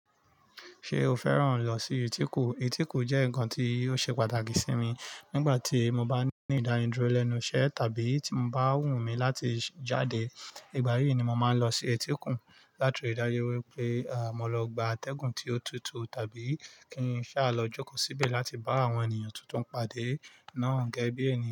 Ṣé o fẹ́ràn lọ sí etíkun? Etíkun jẹ́ nnkan tí ó ṣe pàtàkì sí mi. Nígbà tí mo bá ní ìdániduro lẹ́nu iṣẹ́ tàbí tí mo bá wù mí láti jáde, ìgbà yí ni mo máa ń lọ sí etí okun láti rí dájú wípé mó lọ gba atẹ́gùn tí ó tutù tàbí kí n sá lọ jókòó síbẹ̀ láti bá àwọn ènìyàn tuntun pade náà gẹ́gẹ́ bí ènìyàn.